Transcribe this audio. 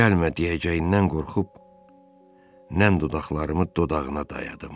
Gəlmə deyəcəyindən qorxub nəm dodaqlarımı dodağına dayadım.